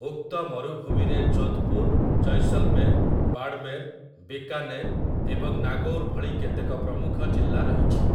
ଉକ୍ତ ମରୁଭୂମିରେ ଯୋଧପୁର୍, ଜୈସଲମେର୍, ବାଡ଼ମେର୍, ବିକାନେର୍ ଏବଂ ନାଗୌର୍ ଭଳି କେତେକ ପ୍ରମୁଖ ଜିଲ୍ଲା ରହିଛି ।